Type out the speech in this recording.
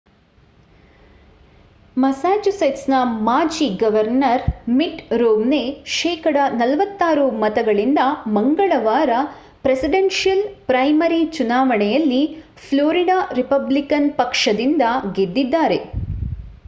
ಮಸಾಚುಸೆಟ್ಸ್‌ನ ಮಾಜಿ governor Mitt Romney ಶೇಕಡಾ 46 ಮತಗಳಿಂದ ಮಂಗಳವಾರ ಪ್ರೆಸಿಡೆನ್ಷಿಯಲ್‌ ಪ್ರೈಮರಿ ಚುನಾವಣೆಯಲ್ಲಿ ಫ್ಲೋರಿಡಾ ರಿಪಬ್ಲಿಕನ್ ಪಕ್ಷದಿಂದ ಗೆದ್ದಿದ್ದಾರೆ